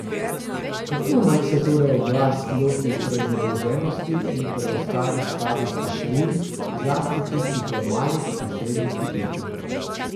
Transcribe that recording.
Kako naj se torej oblast loti prezadolženosti in preostalih slabih posojil, zlasti tistih v malih in srednjih podjetjih?